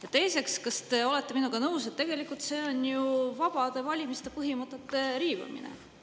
Ja teiseks: kas te olete minuga nõus, et tegelikult see on vabade valimiste põhimõtete riivamine?